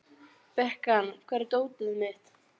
Bekan, hvar er dótið mitt?